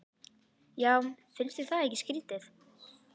Já, finnst þér það ekki skrýtið?